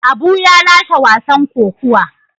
Abu ya lashe wasan kokuwa.